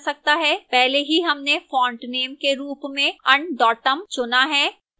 पहले ही हमने font name के रूप में undotum चुना है